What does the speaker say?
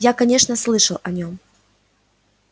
я конечно слышал о нем